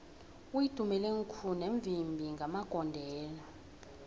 uitumelengkhune mvimbi magondelo